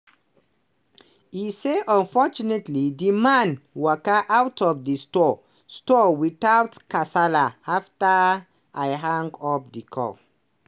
e say fortunately di man "waka out of di store store without kasala afta i hang up di call".